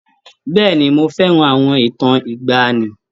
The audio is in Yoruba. Bẹ́ẹ̀ni, mo fẹ́ràn àwọn ìtàn ìgbaanì.